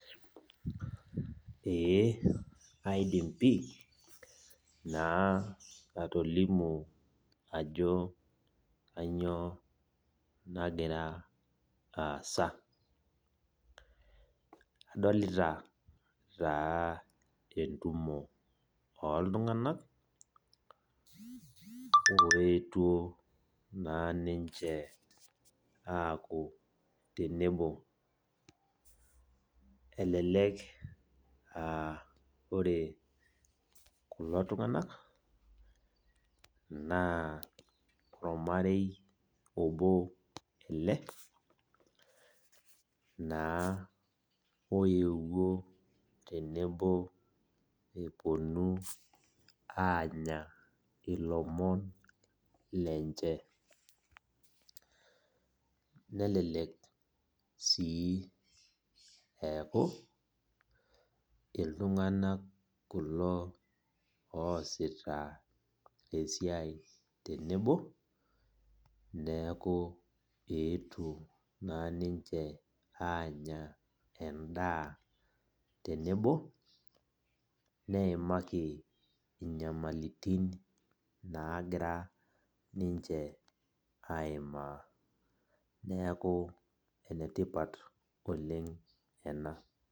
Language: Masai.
Ee aidim pi, naa atolimu ajo kanyioo nagira aasa. Adolita taa entumo oltung'anak, oetuo naa ninche aaku tenebo. Elelek ah ore kulo tung'anak, naa ormarei obo ele, naa oewuo tenebo eponu anya ilomon lenche. Nelelek si eeku, iltung'anak kulo oosita esiai tenebo, neeku eetuo naa ninche anya endaa tenebo, neimaki inyamalitin nagira ninche aimaa. Neeku enetipat oleng ena.